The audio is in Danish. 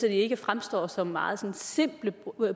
ikke fremstår som meget simple